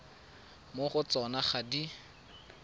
mo go tsona ga di